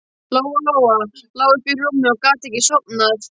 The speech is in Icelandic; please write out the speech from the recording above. Lóa-Lóa lá uppi í rúmi og gat ekki sofnað.